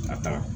Ka taa